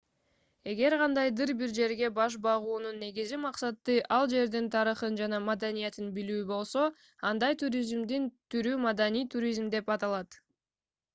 эгер кандайдыр бир жерге баш баагунун негизги максаты ал жердин тарыхын жана маданиятын билүү болсо андай туризмдин түрү маданий туризм деп аталат